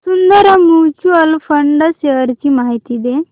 Sundaram mutual fund shares ची माहिती दे